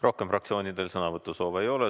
Rohkem fraktsioonidel sõnavõtusoove ei ole.